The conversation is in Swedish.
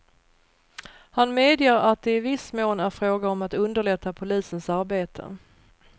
Han medger att det i viss mån är fråga om att underlätta polisens arbete.